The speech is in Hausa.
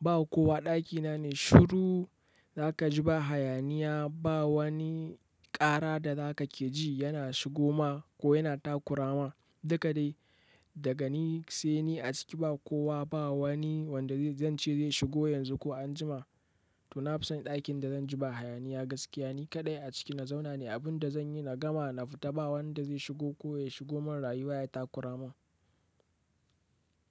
Ba kowa ɗakina ne shuru, za ka ji ba hayaniya, ba wani ƙara da za ka ke ji yana shigo ma ko yana takura ma. Duka dai daga ni sai ni a ciki ba kowa, ba wani wanda zan ce zai shigo yanzu ko anjima. To na fi son ɗakin da zan ji ba hayaniya gaskiya, ni kaɗai a ciki na zauna nai. Abin da zan yi na gama na fita ba wanda zai shigo ko ya shigo mun rayuwa ya takura mun.